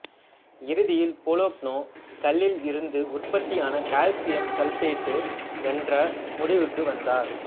இறுதியில் போலோக்னோ கல்லில் இருந்து உற்பத்தியானது கால்சியம் சல்பேட்டு என்ற முடிவுக்கு வந்தார்